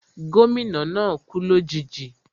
Gómìnà náà kú lòjijì